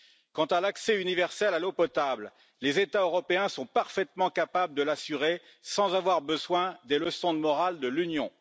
Quant à l'accès universel à l'eau potable, les États européens sont parfaitement capables de l'assurer, sans avoir besoin des leçons de morale de l'Union.